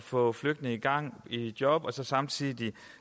få flygtninge i gang i job og samtidig